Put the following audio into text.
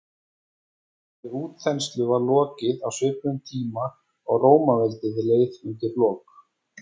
þessari útþenslu var lokið á svipuðum tíma og rómaveldi leið undir lok